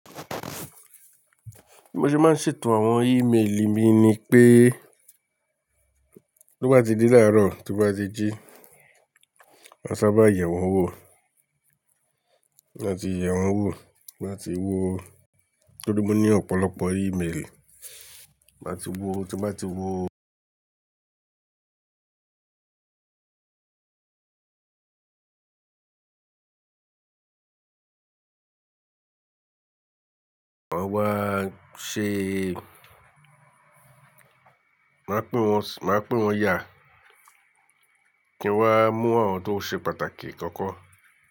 Bí mo ṣe máa ń ṣètò àwọn email mi ni pé, tó bá ti di láàárọ̀, tó bá ti jí, màá sábà yẹ̀ wọ́n wò. Láti yẹ̀ wọ́n wò, máa ti wo. Torí mo ní ọ̀pọ̀lọpọ̀ email. Máa ti wo, tó bá ti wo, máa á wá ṣe Màá pín wọn sí, màá pín wọn yà kí n wá mú àwọn tó ṣe pàtàkì kọ́kọ́